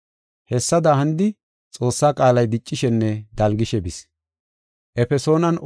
Hessada hanidi Xoossa qaalay diccishenne dalgishe bis.